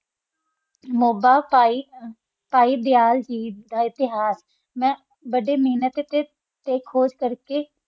ਮੋਬਾ ਪਾਹਿ ਪਾਹਿ ਦਯਾਲ ਗੇਆਥ ਤਾ ਇਤ੍ਹਾਰ ਬਾਰਾ ਮਿਨਤ ਤਾ ਕੋਆਹ ਕਰ ਕਾ